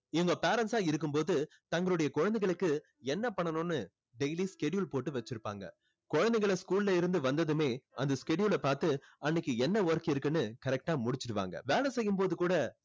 இவங்க parents ஆ இருக்கும்போது தங்களுடைய குழந்தைகளுக்கு என்ன பண்ணணும்னு daily schedule போட்டு வச்சிருப்பாங்க. குழந்தைங்களை school ல இருந்து வந்ததுமே அந்த schedule அ பார்த்து அன்னைக்கு என்ன work இருக்குன்னு correct ஆ முடிச்சிடுவாங்க. வேலை செய்யும்போது கூட